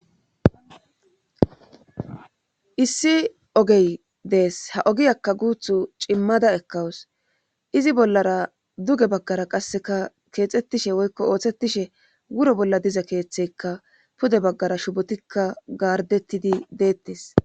Issi ogey dees ha ogiyakka guuthu cimmada ekkawus izi bollara duge baggara qasseka keexettishe woykko ooththettishe wuro bolla diza keeththeykka pude baggara shufotikka gaardettidi deettes.